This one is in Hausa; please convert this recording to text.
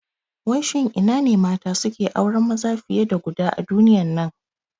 Wai shin ina ne mata suke auren maza fiye da guda a duniyan nan?